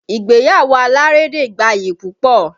Ìgbéyàwó alárédè gbayì púpọ̀